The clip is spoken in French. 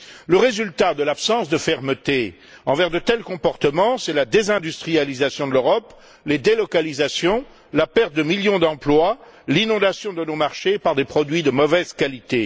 Le résultat de l'absence de fermeté envers de tels comportements, c'est la désindustrialisation de l'Europe, les délocalisations, la perte de millions d'emplois, l'inondation de nos marchés par des produits de mauvaise qualité.